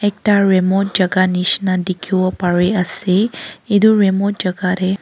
ekta remote jaka nishina dikhiwo pariase edu remote jaka tae.